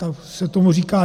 Tak se tomu říká.